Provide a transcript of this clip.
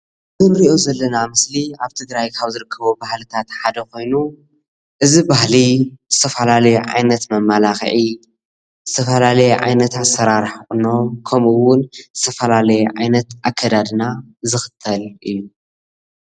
እዚ እንሪኦ ዘለና ምስሊ ኣብ ትግራይ ካብ ዝርከቡ ባህልታት ሓደ ኮይኑ እዚ ባህሊ ዝተፈላለዩ ዓይነት መማላክዒ ዝተፈላለየ ዓይነት ኣሰራርሓ ቁኖ ከምኡውን ዝተፈላለየ ዓይነት ኣከዳድና ዝክተል እዩ፡፡